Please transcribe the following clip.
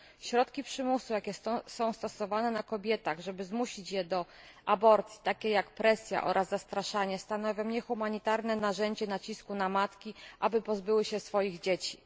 Środki przymusu, jakie są stosowane na kobietach, żeby zmusić je do aborcji, takie jak presja oraz zastraszanie, stanowią niehumanitarne narzędzie nacisku na matki, aby pozbyły się swoich dzieci.